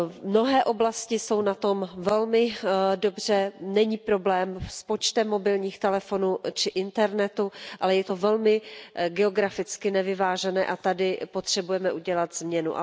Mnohé oblasti jsou na tom velmi dobře, není problém s počtem mobilních telefonů či internetu, ale je to velmi geograficky nevyvážené, a tady potřebujeme udělat změnu.